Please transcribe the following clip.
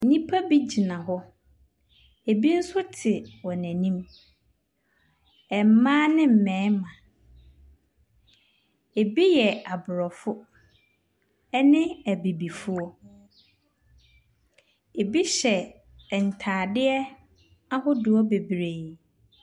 Nnipa bi gyina hɔ, bi nso te wɔn akyi, mmaa ne mmarima. Bi yɛ aborɔfoɔ ne abibifoɔ, bi hyɛ ntaadeɛ ahodoɔ bebree.